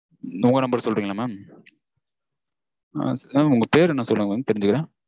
உங்க number சொல்றீங்களா mam mam? உங்க பேர் என்ன சொல்லுங்க mam தெரிஞ்சுக்கிறேன்.